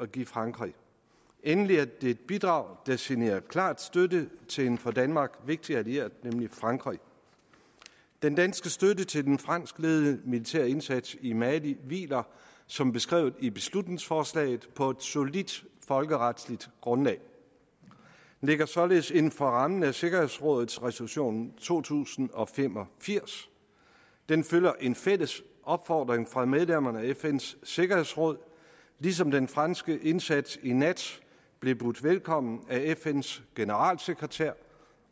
at give frankrig endelig er det et bidrag der signalerer klar støtte til en for danmark vigtig allieret nemlig frankrig den danske støtte til den franskledede militære indsats i mali hviler som beskrevet i beslutningsforslaget på et solidt folkeretligt grundlag den ligger således inden for rammen af sikkerhedsrådets resolution to tusind og fem og firs den følger en fælles opfordring fra medlemmerne af fns sikkerhedsråd ligesom den franske indsats i nat blev budt velkommen af fns generalsekretær